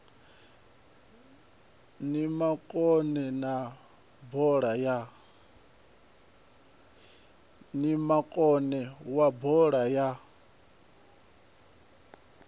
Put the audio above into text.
ni makone wa bola ya